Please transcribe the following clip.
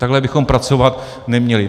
Takhle bychom pracovat neměli.